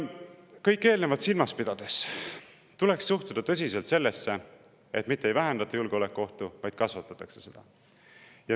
Kõike eelnevat silmas pidades tuleks tõsiselt suhtuda sellesse, et selle kõigega mitte ei vähendata julgeolekuohtu, vaid kasvatatakse seda.